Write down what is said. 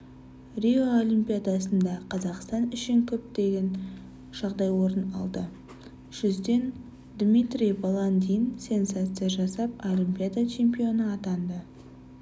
рио олимпиадасында қазақстан үшін күтпеген жағдай орын алды жүзуден дмитрий баландин сенсация жасап олимпиада чемпионы атанды